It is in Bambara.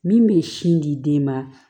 Min bɛ sin di den ma